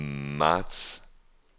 marts